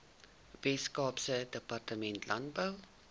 weskaapse departement landbou